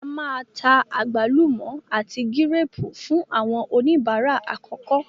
A máa ta àgbálùmọ́ àti gírépù fún àwọn oníbàárà àkọ́kọ́.